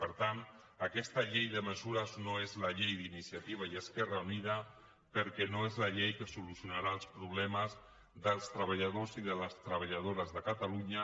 per tant aquesta llei de mesures no és la llei d’iniciativa i esquerra unida perquè no és la llei que solucionarà els problemes dels treballadors i de les treballadores de catalunya